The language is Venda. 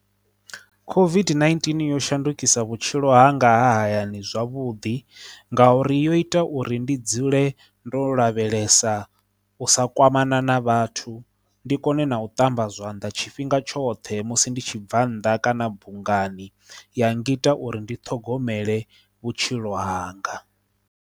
COVID-19 yo shandukisa vhutshilo hanga hayani zwavhuḓi nga uri yo ita uri ndi dzule ndo lavhelesa u sa kwamana na vhathu ndi kone na u ṱamba zwanḓa tshifhinga tshoṱhe musi ndi tshibva nnḓa kana bungani ya ngita uri ndi ṱhogomele vhutshilo hanga.